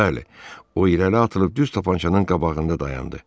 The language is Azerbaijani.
Bəli, o irəli atılıb düz tapançanın qabağında dayandı.